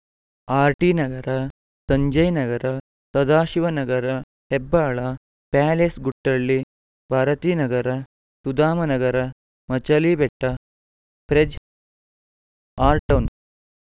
RT Nagar Sanjay Nagar Sadashivanagar Hebbal Palace Guttahalli Bharathinagar Sudhamanagar Machalibetta Frazer town